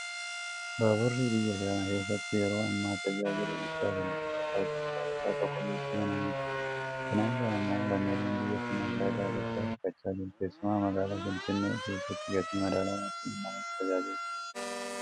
Baaburri biyya kana keessatti yeroo ammaa tajaajila guddaa kennaa jira. Tajaajila isaa keessaa tokko geejiba namootaati. Kana irraa immoo lammiileen biyya kanaa faayidaa guddaa argachaa jiru. Keessumaa magaalaa Finfinnee keessatti gatii madaalawaa ta'een namoota tajaajilaa jira.